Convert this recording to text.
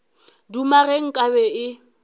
duma ge nka be e